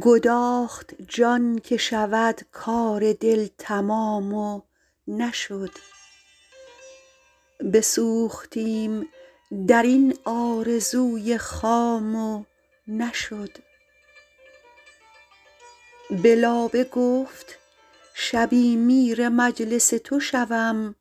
گداخت جان که شود کار دل تمام و نشد بسوختیم در این آرزوی خام و نشد به لابه گفت شبی میر مجلس تو شوم